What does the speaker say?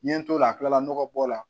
N ye n t'o la kilala nɔgɔ bɔ la